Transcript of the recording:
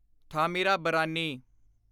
Thamirabarani